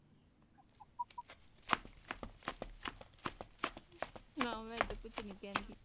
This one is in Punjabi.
ਨਾ ਮੈ ਏਦਾਂ ਦਾ ਕੁਛ ਨਹੀਂ ਕਹਿੰਦੀ